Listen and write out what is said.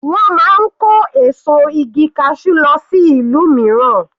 Wọ́n máa ń kó èso igi cashew lọ sí ìlú mìíràn.